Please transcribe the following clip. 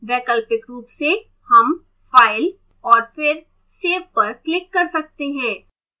वैकल्पिक रूप से हम file और फिर save पर click कर सकते हैं